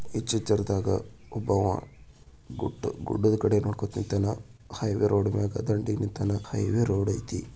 ಈಚೆ ಚೀರದಾಗ ಒಬ್ಬವ ಗುಡ್ಡ ಗುಡ್ಡದ ಕಡೆ ನೋಡಕೋತಿರತನ ಹೈವೇ ರೋಡ್ ಮ್ಯಾಗ ದಂಡಿ ನಿಂತಾನ ಹೈವೇ ರೋಡ್ ಐತಿ.